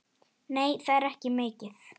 Nei, það er ekki mikið.